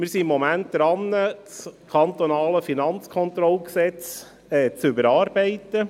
Wir sind im Moment dran, das Gesetz über die Finanzkontrolle (Kantonales Finanzkontrollgesetz, KFKG) zu überarbeiten.